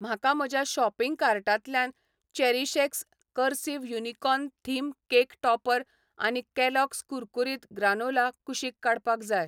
म्हाका म्हज्या शॉपिंग कार्टांतल्यान चेरीशएक्स करसिव यूनिकॉर्न थीम केक टॉपर आनी कॅलॉग्स कुरकुरीत ग्रानोला कुशीक काडपाक जाय.